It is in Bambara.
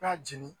B'a jeni